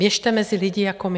Běžte mezi lidi jako my.